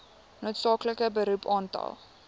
noodsaaklike beroep aantal